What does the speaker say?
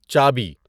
چابی